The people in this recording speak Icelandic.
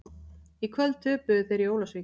Í kvöld töpuðu þeir í Ólafsvík.